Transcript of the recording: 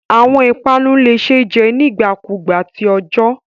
Awọn ipanu le ṣee jẹ nigbakugba ti ọjọ